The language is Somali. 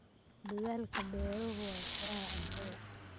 Dadaalka beeruhu waa furaha cuntada.